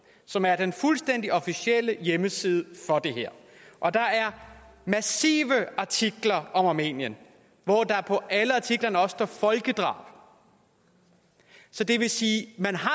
som er den fuldstændig officielle hjemmeside for det her og der er massive artikler om armenien hvor der på alle artiklerne også står folkedrab så det vil sige at man har